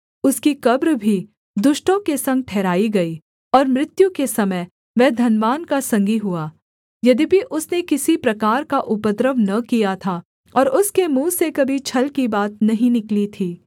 उसकी कब्र भी दुष्टों के संग ठहराई गई और मृत्यु के समय वह धनवान का संगी हुआ यद्यपि उसने किसी प्रकार का उपद्रव न किया था और उसके मुँह से कभी छल की बात नहीं निकली थी